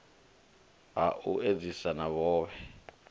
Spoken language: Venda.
ha u edzisa na vhohe